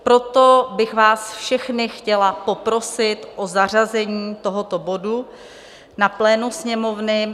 Proto bych vás všechny chtěla poprosit o zařazení tohoto bodu na plénu Sněmovny.